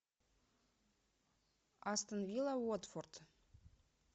астон вилла уотфорд